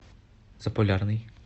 заполярный